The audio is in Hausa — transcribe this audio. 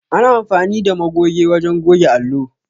Ana amfani da magoge wajen goge allo.